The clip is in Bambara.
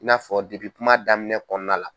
I n'a fɔ depi kuma daminɛ kɔnɔna la.